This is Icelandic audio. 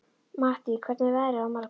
Mattý, hvernig er veðrið á morgun?